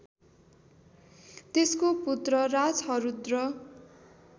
त्यसको पुत्र राजहरूद्र